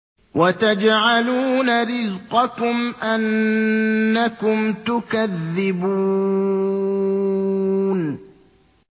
وَتَجْعَلُونَ رِزْقَكُمْ أَنَّكُمْ تُكَذِّبُونَ